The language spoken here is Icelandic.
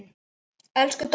Elsku Dóra.